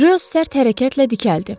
Rö sərt hərəkətlə dikəldi.